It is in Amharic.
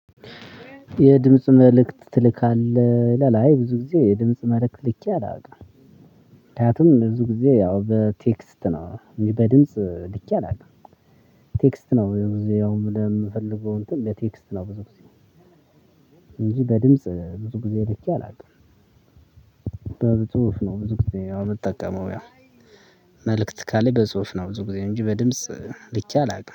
የድምጽ መልእክት ትልካለህ ይላል አይ ብዙ ጊዜ የድምጽ መልእክት ልኬ አላውቅም ምክንያቱም ብዙ ጊዜ ያው በቴክስት ነው በድምጽ ልኬ አላውቅም። ቴክስት ነው የብዙ ያው ወደምፈልገው እንትን በቴክስት ነው ብዙ ጊዜ እንጂ በድምጽ ብዙ ጊዜ ልኬ። አላውቅም። በጽሁፍ ነው ብዙ ጊዜ የምጠቀመው። ያው። መልእክት ካለ በጽሁፍ ነው ብዙ ጊዜ እንጂ በድምጽ ልኬአላውቅም